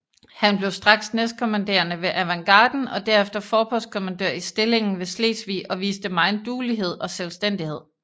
Han blev straks næstkommanderende ved avantgarden og derefter forpostkommandør i stillingen ved Slesvig og viste megen duelighed og selvstændighed